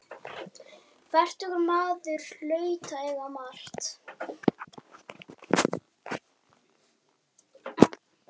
Fertugur maður hlaut að eiga margt.